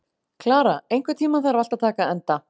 Klara, einhvern tímann þarf allt að taka enda.